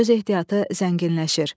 Söz ehtiyatı zənginləşir.